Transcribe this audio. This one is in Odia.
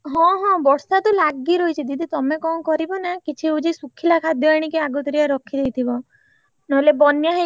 ହଁ ହଁ ବର୍ଷା ତ ଲାଗି ରହିଛି ଦିଦି ତମେ ଙ୍କ କରିବ ନା କିଛି ହଉଛି ଶୁଖିଲା ଖାଦ୍ଯ ଆଣିକି ଆଗୁତୁରିଆ ରଖିଦେଇଥିବ ନହେଲେ ବନ୍ୟା ହେଇଗଲେ ଆଉ ଯାଇ ହବନି,